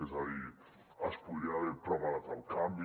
és a dir es podria haver preparat el canvi